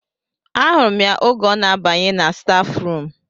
A hụrụ m ya oge ọ na-abanye na stafu rum